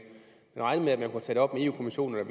national